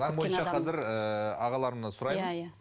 заң бойынша қазір ыыы ағаларымнан сұраймын